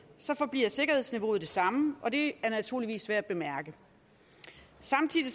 forbliver sikkerhedsniveauet det samme og det er naturligvis værd at bemærke samtidig